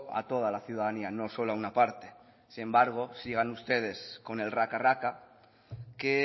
a toda la ciudadanía no solo a una parte sin embargo sigan ustedes con el raca raca que